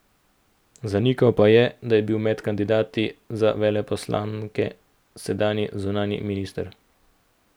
Zanikal pa je, da bi bil med kandidati za veleposlanike sedanji zunanji minister.